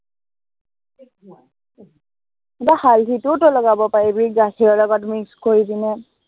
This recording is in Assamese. বা হালধিটোও তই লগাব পাৰিবি গাখীৰৰ লগত mix কৰি পিনে।